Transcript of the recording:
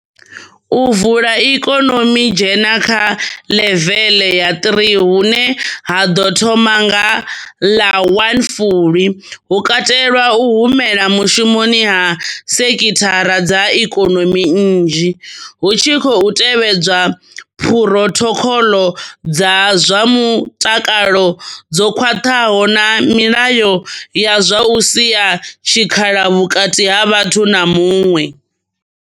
U vula ikonomi dzhena kha ḽevele ya three hune ha ḓo thoma nga ḽa one Fulwi, hu katela u humela mushumoni ha sekhithara dza ikonomi nnzhi, hu tshi khou tevhedzwa phurothokhoḽo dza zwa mutakalo dzo khwaṱhaho na milayo ya zwa u sia tshikhala vhukati ha vhathu na muṅwe.